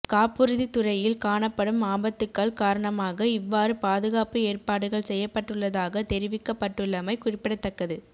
காப்புறுதி துறையில் காணப்படும் ஆபத்துக்கள் காரணமாக இவ்வாறு பாதுகாப்பு ஏற்பாடுகள் செய்யப்பட்டுள்ளதாக தெரிவிக்கப்பட்டுள்ளமை குறிப்பிடத்தக்கது